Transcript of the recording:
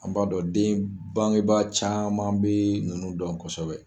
An b'a dɔn den, bangeba caman bɛ nunnu dɔn kosɛbɛ.